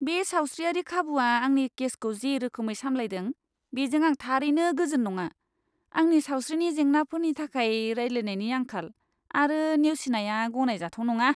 बे सावस्रियारि खाबुआ आंनि केसखौ जे रोखोमै सामलायदों, बेजों आं थारैनो गोजोन नङा। आंनि सावस्रिनि जेंनाफोरनि थाखाय रायज्लायनायनि आंखाल आरो नेवसिनाया गनायजाथाव नङा।